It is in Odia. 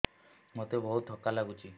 ମୋତେ ବହୁତ୍ ଥକା ଲାଗୁଛି